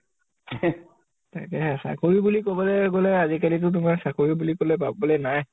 তাকে । চাকৰি বুলি কʼবলৈ গʼলে, আজিকালি তো তোমাৰ চাকৰি বুলি কʼলে পাবলৈ নাই ।